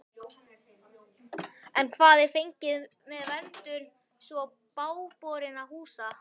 En hvað er fengið með verndun svo bágborinna húsa?